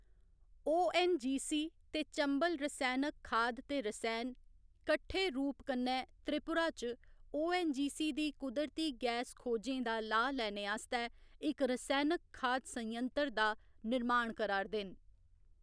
ONGC. ते चंबल रसैनक खाद ते रसैन कट्ठे रूप कन्नै त्रिपुरा च ओ.ऐन्न.जी.सी.. दी कुदरती गैस खोजें दा लाह् लैने आस्तै इक रसैनक खाद संयंत्र दा निर्माण करा 'रदे न।